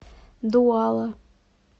дуала